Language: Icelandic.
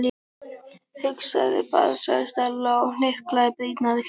Hugsaðu þér bara- sagði Stella og hnyklaði brýnnar.